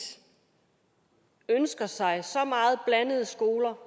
ønsker sig blandede skoler